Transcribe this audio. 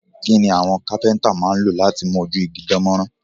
Kí ni àwọn kápẹ́ntà máa ń lò láti mú ojú igi dán mọ́rán?